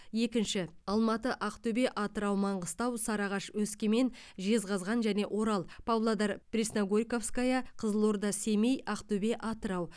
екінші алматы ақтөбе атырау маңғыстау сарыағаш өскемен жезқазған және орал павлодар пресногорьковская қызылорда семей ақтөбе атырау